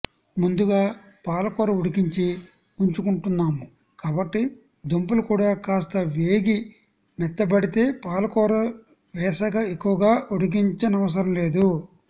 ముందుగా పాలకూర ఉడికించి ఉంచుకుంటున్నాము కాబట్టి దుంపలుకుడా కాస్త వేగి మెత్తపడితే పాలకూర వేశక ఎక్కువగా ఉడికించ నవసరంలేదు